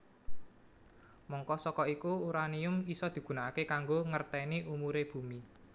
Mangka saka iku uranium isa digunakaké kanggo ngerténi umuré bumi